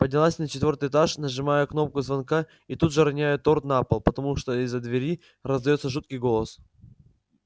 поднялась на четвёртый этаж нажимаю кнопку звонка и тут же роняю торт на пол потому что из-за двери раздаётся жуткий голос